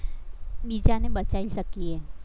બીજાને બચાવી શકીએ.